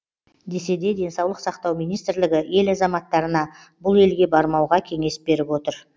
десе де денсаулық сақтау министрлігі ел азаматтарына бұл елге бармауға кеңес беріп отыр